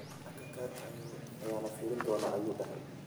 Akakarka aya lafiridona ayu dexee.